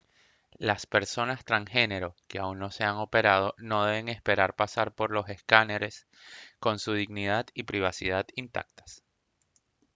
las personas transgénero que aún no se han operado no deben esperar pasar por los escáners con su dignidad y privacidad intactas